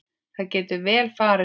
Það getur vel farið svo.